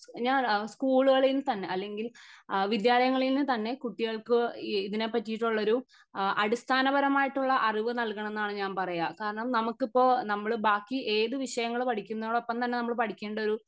ഞാൻ സ്കൂളുകളിന്ന് തന്നെ അല്ലെങ്കിൽ അഹ് വിദ്യാലയങ്ങളിന്ന് തന്നെ കുട്ടികൾക്ക് ഇതിനെ പറ്റീട്ടുള്ളൊരു അഹ് അടിസ്ഥാനപരമായിട്ടുള്ള അറിവ് നൽകണംന്നാണ് ഞാൻ പറയാ കാരണം നമുക്കിപ്പൊ നമ്മൾ ബാക്കി ഏത് വിഷയങ്ങള് പഠിക്കുന്നതിനോടൊപ്പം തന്നെ നമ്മൾ പഠിക്കേണ്ട ഒരു